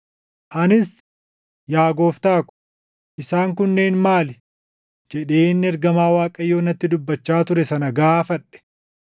Anis, “Yaa gooftaa ko, isaan kunneen maali?” jedheen ergamaa Waaqayyoo natti dubbachaa ture sana gaafadhe.